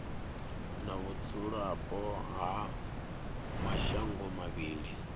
na vhudzulapo ha mashango mavhili